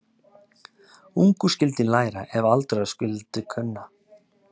Ungur skyldi læra ef aldraður skyldi kunna.